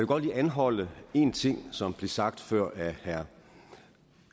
godt lige anholde en ting som blev sagt før af herre